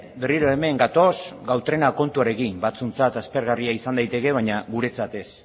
berriro hemen gatoz gautrena kontuarekin batzuentzat aspergarria izan daiteke baina guretzat ez